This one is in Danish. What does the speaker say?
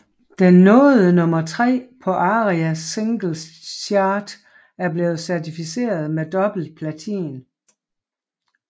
Den nåede nummer tre på ARIA Singles Chart og blev certificeret med dobbelt platin